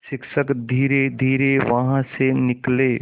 शिक्षक धीरेधीरे वहाँ से निकले